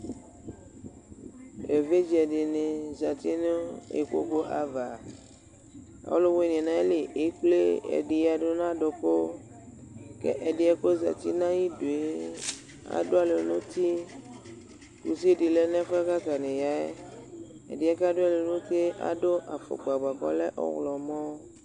Evidze dɩnɩ zǝtɩ nʋ ikpoku ava Ɔlʋ wɩnɩ nʋ ayili ekple ɛdɩ yǝdʋ nʋ adʋkʋ Kʋ ɛdɩ yɛ kʋ ozǝtɩ nʋ ayʋ idu yɛ adʋ alɔ nʋ uti Kusi dɩ lɛ nʋ ɛfʋ yɛ kʋ atanɩ aya yɛ ɛdɩ yɛ kʋ adʋ alɔ nʋ uti yɛ adʋ afukpa dɩ bʋakʋ ɔlɛ ɔɣlɔmɔ